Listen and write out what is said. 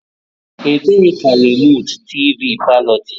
Ebee ka remootu tivii palo dị?